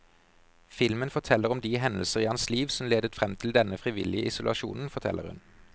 Filmen forteller om de hendelser i hans liv som ledet frem til denne frivillige isolasjonen, forteller hun.